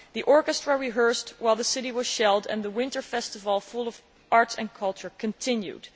The orchestra rehearsed while the city was being shelled, and the winter festival full of arts and culture continued.